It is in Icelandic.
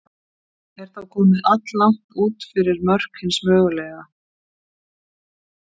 Er þá komið alllangt út fyrir mörk hins mögulega.